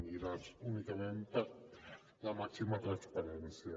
era únicament per la màxima transparència